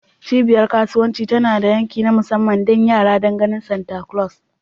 Cibiyar kasuwanci tana da yanki na musamman don yara don ganin Santa Claus.